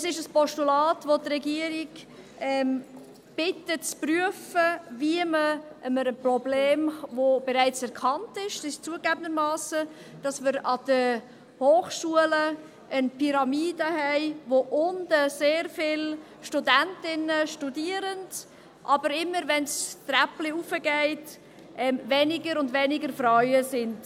Es ist ein Postulat, das die Regierung bittet, zu prüfen, wie man einem Problem begegnen kann, das zugegebenermassen bereits erkannt ist, nämlich, dass wir an den Hochschulen eine Pyramide haben, bei der unten sehr viele Studentinnen studieren, aber es immer, wenn es das Treppchen hoch geht, weniger und weniger Frauen werden.